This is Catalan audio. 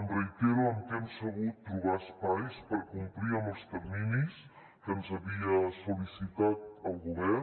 em reitero en que hem sabut trobar espais per a complir amb els terminis que ens havia sol·licitat el govern